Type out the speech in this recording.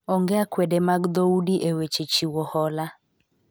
onge akwede mag dhoudi e weche chiwo hola